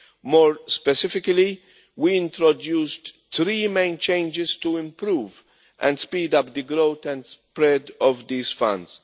More specifically, we introduced three main changes to improve and speed up the growth and spread of these funds.